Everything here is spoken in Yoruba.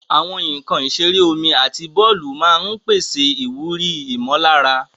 Àwọn nkan ìṣeré omi àti bọ́ọ̀lù máa ń pèsè ìwúrí ìmọ̀lára.